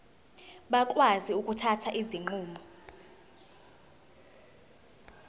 bakwazi ukuthatha izinqumo